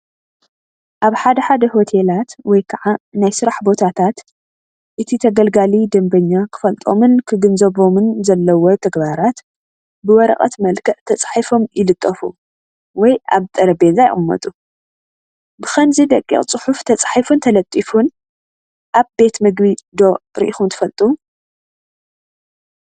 ኣብ ሓደ ሓደ ሆቴላት ወይ ከዓ ናይ ስራሕ ቦታታት እቲ ተገልጋሊ (ደንበኛ) ክፈልጦምን ክግንዘቦምን ዘለዎ ተግባራት ብወረቐት መልክዕ ተፃሒፎም ይልጠፉ ወይ ኣብ ጠረጴዛ ይቕመጡ፡፡ ብኸምዚ ደቂቕ ፅሑፍ ተፃሒፉን ተለጢፉን ኣብ ቤት ምግቢ ዶ ሪኢኹም ትፈልጡ?